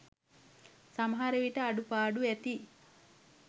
සමහර විට අඩුපාඩු ඇති.